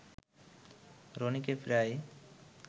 রনিকে প্রায়